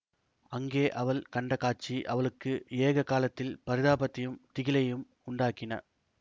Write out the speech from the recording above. அங்கே அவள் கண்ட காட்சி அவளுக்கு ஏக காலத்தில் பரிதாபத்தையும் திகிலையும் உண்டாக்கின